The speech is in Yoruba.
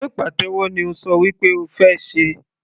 Sé pàtẹ́wọ́ ni o ṣọ wí pé o fẹ́ ṣe?.